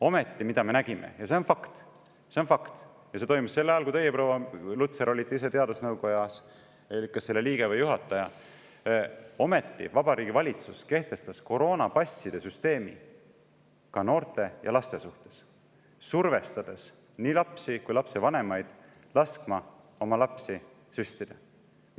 Ometi, mida me nägime – ja see on fakt, see on fakt, ja see toimus sel ajal, kui teie, proua Lutsar, olite ise teadusnõukojas, kas selle liige või juht –, Vabariigi Valitsus kehtestas koroonapasside süsteemi ka noorte ja laste suhtes, survestades nii lapsi kui ka lapsevanemaid laskma oma lapsi süstida.